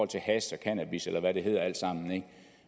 til hash og cannabis eller hvad det alt sammen hedder